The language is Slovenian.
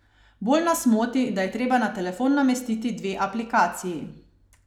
Bolj nas moti, da je treba na telefon namestiti dve aplikaciji.